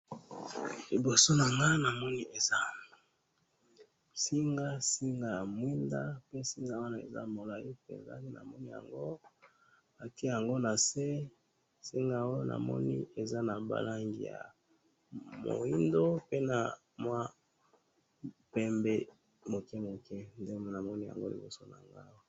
Liboso nanga namoni eza Singa, singa ya mwinda, pe singa wana eza mulayi penza, namoni yango, batye yango nase, singa oyo namoni eza nabalangi ya mwindo, pe namwa pembe mukemuke, nde namoni yango liboso nanga awa